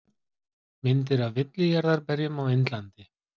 Mynd af villijarðarberjum á Indlandi.